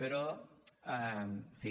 però en fi